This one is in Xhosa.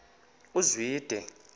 uzwide